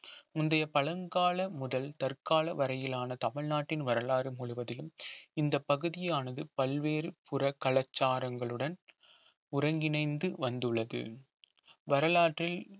முந்தைய பழங்கால முதல் தற்கால வரையிலான தமிழ்நாட்டின் வரலாறு முழுவதிலும் இந்த பகுதியானது பல்வேறு புற கலாச்சாரங்களுடன் ஒருங்கிணைந்து வந்துள்ளது வரலாற்றில்